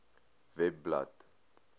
webblad